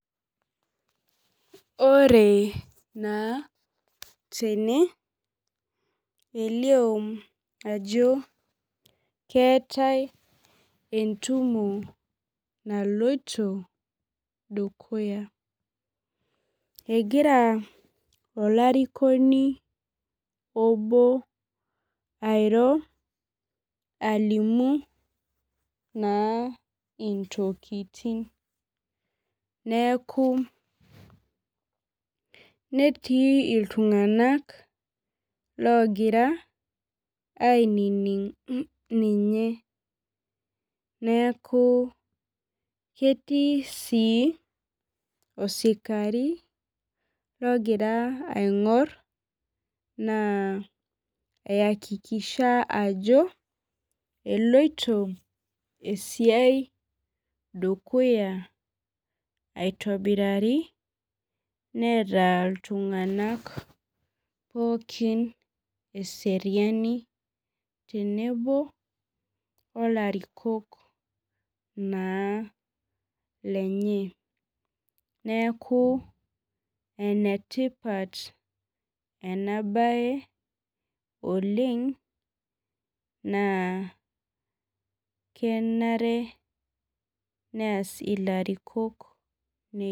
Ore naa tene elio ajo keetae entumo naloito dukuya egira olarikoni obo airo alimu naa intokiting neeku netii iltung'anak logira ainining ninye neeku ketii sii osikari logira aing'orr naa ayakikisha ajo eloito esiai dukuya aitobirari neeta iltung'anak pookin eseriani tenebo olarikok naa lenye neeku enetipat ena baye oleng naa kenare neas ilarikok.